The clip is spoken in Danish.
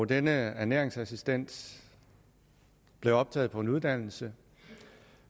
denne ernæringsassistent blev optaget på en uddannelse